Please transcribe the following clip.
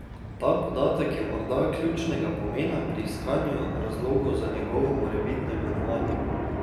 Ta podatek je morda ključnega pomena pri iskanju razlogov za njegovo morebitno imenovanje.